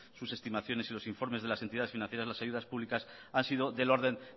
sus estimaciones y los informes de las entidades financieras las ayudas públicas han sido del orden